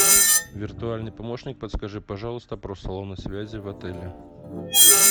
виртуальный помощник подскажи пожалуйста про салоны связи в отеле